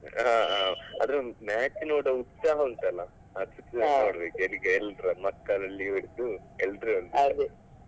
ಹಾ ಹಾ ಆದ್ರೆ match ನೋಡುವ ಉತ್ಸಾಹ ಉಂಟಲ್ಲ ಅದು ಎಲ್ಲರಲ್ಲಿ ಮಕ್ಕಳಲ್ಲಿ ಹಿಡ್ದು ಎಲ್ಲರಲ್ಲೂ